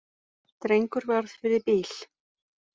Drengur varð fyrir bíl